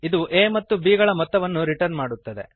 ಇದು a ಮತ್ತು b ಗಳ ಮೊತ್ತವನ್ನು ರಿಟರ್ನ್ ಮಾಡುತ್ತದೆ